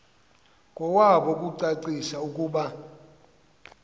kowabo ukucacisa ukuba